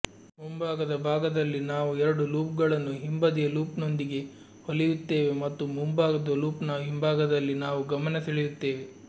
ಮುಂಭಾಗದ ಭಾಗದಲ್ಲಿ ನಾವು ಎರಡು ಲೂಪ್ಗಳನ್ನು ಹಿಂಬದಿಯ ಲೂಪ್ನೊಂದಿಗೆ ಹೊಲಿಯುತ್ತೇವೆ ಮತ್ತು ಮುಂಭಾಗದ ಲೂಪ್ನ ಹಿಂಭಾಗದಲ್ಲಿ ನಾವು ಗಮನ ಸೆಳೆಯುತ್ತೇವೆ